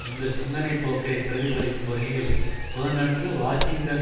இந்த சிந்தனை போக்கை பிரதிபலிக்கும் வகையில் புதனன்று வாஷிங்டன்